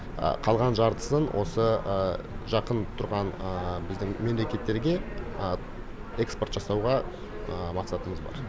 қалған жартысын осы жақын тұрған біздің мемлекеттерге экспорт жасауға мақсатымыз бар